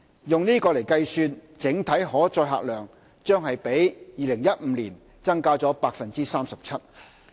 以此計算，整體可載客量將比2015年增加 37%。